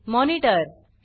monitor C